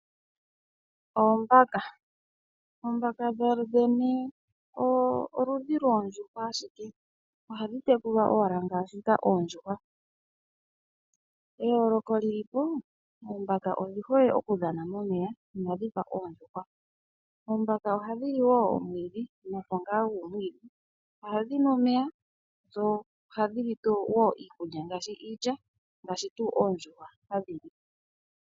Oombaka, oombaka dhodhene oludhi loondjuhwa ashike, ohadhi tekulwa owala ngaashika oondjuhwa. Eyooloko lili po, oombaka odhihole okudhana momeya inadhifa oondjuhwa. Oombaka ohadhi li wo omwiidhi noongala dhomwiidhi, ohadhi nu omeya dho ohadhi li wo iikulya ngaashi, iilya ngaashi tu oondjuhwa hadhi li.